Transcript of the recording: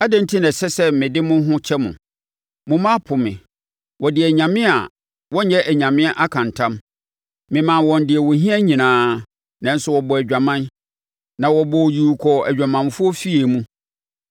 “Adɛn enti na ɛsɛ sɛ mede mo ho kyɛ mo? Mo mma apo me wɔde anyame a wɔnyɛ anyame aka ntam. Memaa wɔn deɛ wɔhia nyinaa, nanso, wɔbɔɔ adwamam na wɔbɔɔ yuu kɔɔ adwamanfoɔ afie mu.